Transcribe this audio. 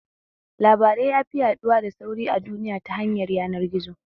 Labarai yafi yaɗuwa da sauri a duniya ta hanyar yanar gizo